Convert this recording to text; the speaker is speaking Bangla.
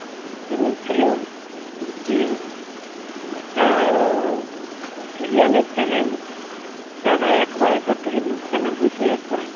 সে বলছিলো যে একটা serial এর channel যা না ad পায় তারথেকে news channel বেশি ad পায়।